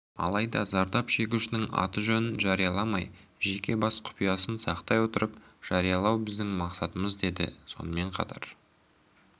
алайда зардап шегушінің аты-жөнін жарияламай жеке бас құпиясын сақтай отырып жариялау біздің мақсатымыз деді сонымен қатар